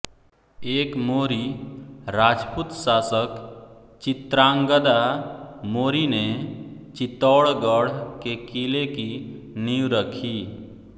एक मोरी राजपूत शासक चित्रांगदा मोरी ने चित्तौड़गढ़ के किले की नींव रखी